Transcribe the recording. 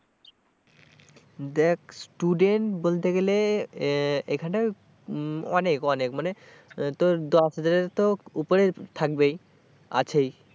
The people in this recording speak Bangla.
দেখ student বলতে গেলে এখানে উম অনেক অনেক মানে তোর দশ হাজারের তো উপরে থাকবেই আছেই।